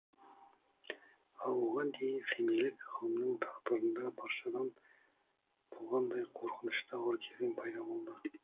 ал оған дейін семейлік ғалымның тағдырында баршада болғандай қорқынышты ауыр кезең пайда болды